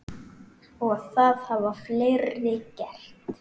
Og það hafa fleiri gert.